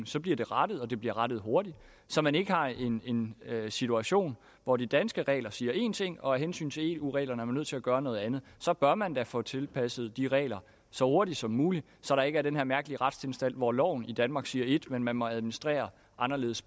så bliver de rettet og de bliver rettet hurtigt så man ikke har en en situation hvor de danske regler siger én ting og af hensyn til eu reglerne er man nødt til at gøre noget andet så bør man da få tilpasset de regler så hurtigt som muligt så der ikke er den her mærkelige retstilstand hvor loven i danmark siger ét men hvor man må administrere